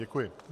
Děkuji.